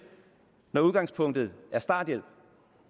når udgangspunktet er starthjælp